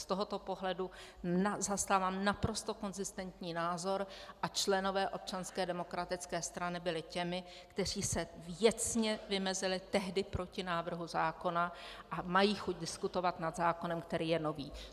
Z tohoto pohledu zastávám naprosto konzistentní názor a členové Občanské demokratické strany byli těmi, kteří se věcně vymezili tehdy proti návrhu zákona, a mají chuť diskutovat nad zákonem, který je nový.